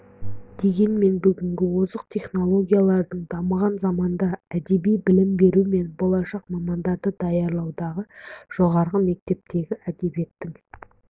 дегенмен бүгінгі озық технологиялардың дамыған заманында әдеби білім беру мен болашақ мамандарды даярлаудағы жоғары мектептегі әдебиеттің